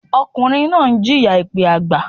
Ọkùnrin náà ń jìyà èpẹ́ àgbà.